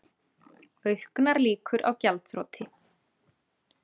Auknar líkur á gjaldþroti